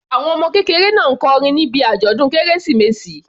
Àwọn ọmọ kékeré náà kọrin níbi àjọ̀dún kérésìmesì.